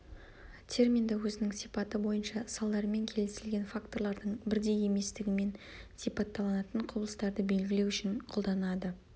терминді өзінің сипаты бойынша салдарымен келісілген факторлардың бірдей еместігімен сипатталынатын құбылыстарды белгілеу үшін қолданылады